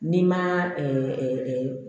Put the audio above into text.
N'i ma